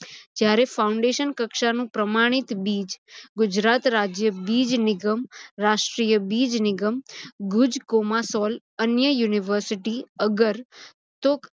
જ્યારે foundation કક્ષાનું પ્રમાણીત બીજ ગુજરાત રાજ્ય બીજ નીગમ, રાષ્ટ્રિય બીજ નીગમ, ગુજ કોમા સોલ અન્ય university અગર તુક